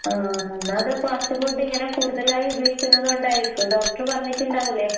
ആഹ് ഒന്നാമതെ ഫാസ്റ്റ് ഫുഡിങ്ങനെ കൂടുതലായുപയോഗിക്കുന്നത് കൊണ്ടായിരിക്കും ഡോക്ടറ് പറഞ്ഞിട്ടിണ്ടാവ്ല്ലേ?